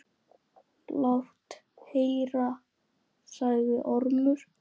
Lát heyra, sagði Ormur.